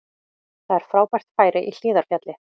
Það er frábært færi í Hlíðarfjalli